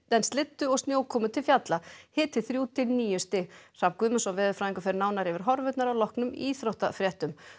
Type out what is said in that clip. en slyddu og snjókomu til fjalla hiti þrjú til níu stig Hrafn Guðmundsson veðurfræðingur fer nánar yfir horfurnar að loknum íþróttafréttum